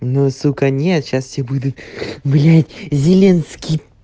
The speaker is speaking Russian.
ну сука нет сейчас все будут блять зеленский